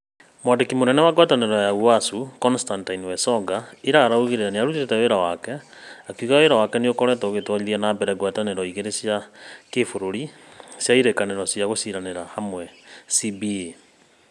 Mwandiki munene wa ngwataniro ya ũasu Constantine Wasonga ira augire niarutite wira wake, akiuga wira wake niukoretwo ugitwarithia na mbere ngwataniro igiri cia kibururi cia irĩkanĩro cĩa guciranĩra hamwe CBA.